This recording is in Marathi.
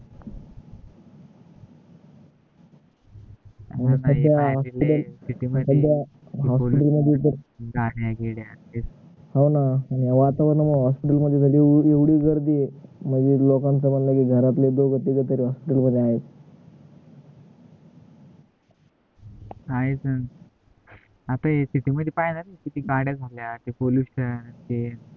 आहेच न आता city मध्ये पाय रे ते ते किती गाड्या झाल्या ते पोलीस stand हे